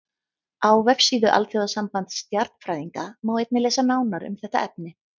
Á vefsíðu Alþjóðasambands stjarnfræðinga má einnig lesa nánar um þetta efni.